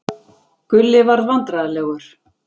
Gulli varð vandræðalegur.